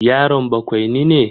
Yaron bakwaini ne?